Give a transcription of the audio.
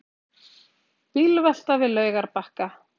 Bílvelta við Laugarbakka